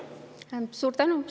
Suur tänu!